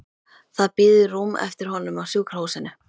Það bíður rúm eftir honum á sjúkrahúsinu.